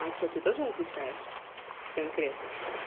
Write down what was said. а что ты тоже не отвечаешь конкретно